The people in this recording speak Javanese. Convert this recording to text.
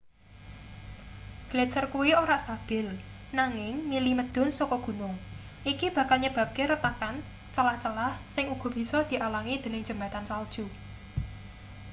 gletser kuwi ora stabil nanging mili medhun saka gunung iki bakal nyebabke retakan celah-celah sing uga bisa dialangi dening jembatan salju